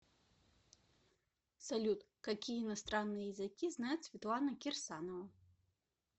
салют какие иностранные языки знает светлана кирсанова